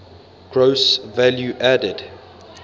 gross value added